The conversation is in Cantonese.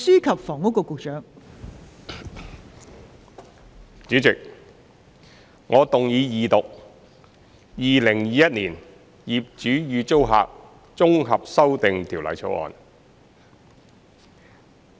代理主席，我謹動議二讀《2021年業主與租客條例草案》。